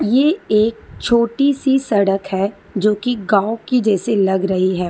ये एक छोटी सी सड़क है जो कि गांव की जैसे लग रही है।